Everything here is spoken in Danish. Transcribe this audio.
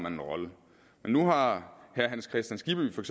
en rolle men nu har herre hans kristian skibby for